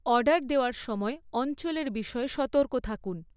Order দেওয়ার সময় অঞ্চলের বিষয়ে সতর্ক থাকুন।